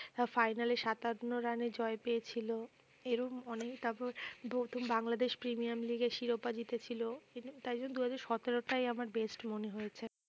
Final এ সাতান্ন রানে জয় পেয়েছিল, এরম অনেক তারপর বাংলাদেশ প্রিমিয়ার লিগের শিরোপা জিতেছিল তাই জন্য দুহাজার সতেরোটাই আমার best মনে হয়েছে